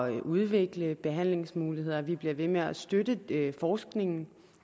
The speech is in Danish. at udvikle behandlingsmuligheder at vi bliver ved med at støtte forskningen